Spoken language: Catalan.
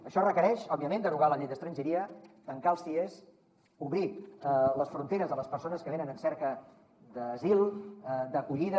això requereix òbviament derogar la llei d’estrangeria tancar els cies obrir les fronteres a les persones que venen en cerca d’asil d’acollida